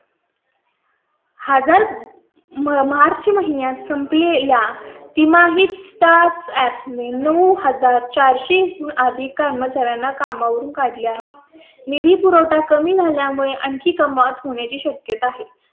एक हजार मार्च महिन्यात संप लेल्या तिमाहीत startup मे नऊ हजार चार सो आधी कर्मचाऱ्यांना कामावरून काढले आहे. निधी पुरवठा कमी झाल्या मुळे आणखी कमाल होण्याची शक्यता आहे.